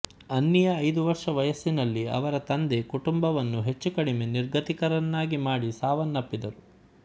ಅನ್ನಿಯ ಐದು ವರ್ಷ ವಯಸ್ಸಿನಲ್ಲಿ ಅವರ ತಂದೆ ಕುಟುಂಬವನ್ನು ಹೆಚ್ಚು ಕಡಿಮೆ ನಿರ್ಗತಿಕರನ್ನಾಗಿ ಮಾಡಿ ಸಾವನ್ನಪ್ಪಿದರು